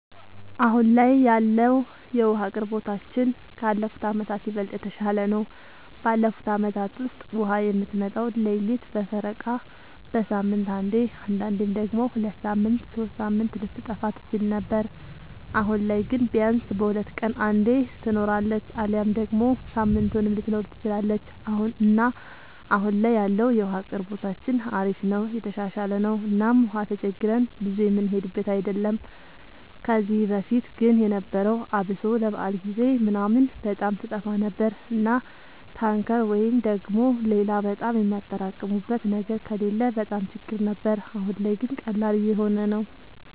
አሁን ላይ ያለወለ የዉሀ አቅርቦታችን ካለፉት አመታት ይበልጥ የተሻለ ነው። ባለፉት አመታት ውስጥ ውሃ የምትመጣው ሌሊት በፈረቃ፣ በሳምንት አንዴ አንዳንዴም ደግሞ ሁለት ሳምንት ሶስት ሳምንት ልትጠፋ ትችል ነበር። አሁን ላይ ግን ቢያንስ በሁለት ቀን አንዴ ትኖራለች አሊያም ደግሞ ሳምንቱንም ልትኖር ትችላለች እና አሁን ላይ ያለው የውሃ አቅርቦታችን አሪፍ ነው የተሻሻለ ነው እና ውሃም ተቸግረን ብዙ የምንሄድበት አይደለም። ከዚህ በፊት ግን የነበረው አብሶ ለበዓል ጊዜ ምናምን በጣም ትጠፋ ነበር እና ታንከር ወይ ደግሞ ሌላ በጣም የሚያጠራቅሙበት ነገር ከሌለ በጣም ችግር ነበር። አሁን ላይ ግን ቀላል እየሆነ ነው።